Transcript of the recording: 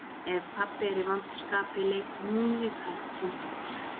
Ef pabbi er í vondu skapi leikur hún við hvern sinn fingur.